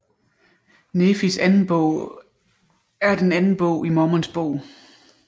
Nefis Anden Bog er den anden bog i Mormons Bog